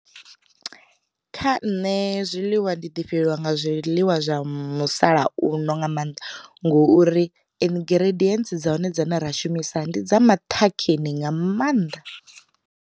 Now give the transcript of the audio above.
Kha nṋe zwiḽiwa ndi ḓi fhelelwa nga zwiḽiwa zwa musalauno nga maanḓa ngouri, ingredients dza hone dzine ra shumisa ndi dza maṱhakheni nga maanḓa.